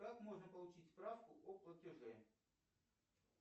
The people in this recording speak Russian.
как можно получить справку о платеже